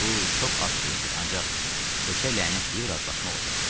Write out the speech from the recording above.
Bu çox az pul edir, ancaq heçə lənət deyib razılaşmaq olardı.